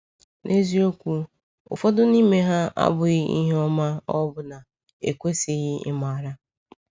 N’eziokwu, ụfọdụ n’ime ha abụghị ihe ọma, ọbụna ekwesịghị ịmara.